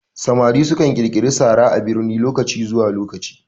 Samari su kan ƙirƙiri sara a birni lokaci zuwa lokaci